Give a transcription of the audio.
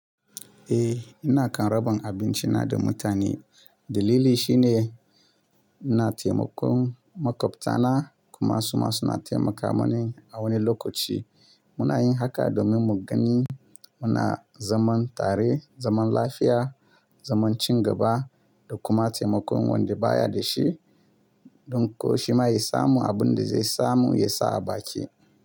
Eh, ina kam raba abinci na da mutane. Dalili shine ina taimakon maƙwabtana kuma su ma suna taimaka mani a wani lokaci. Muna yin haka domin mu gani muna zaman tare, zaman lafiya, zaman ci gaba da kuma taimakon wanda baya da shi don ko shima ya samu abin da zai samu ya sa a baki.